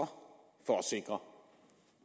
for